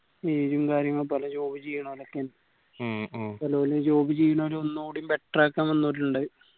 ഉം കാര്യങ്ങളും പല job ചെയ്യണൊലൊക്കെയാണ് ഓല് job ചെയ്യണൊന് ഒന്നൂടി better ആക്കാൻ വന്നൊരുണ്ട്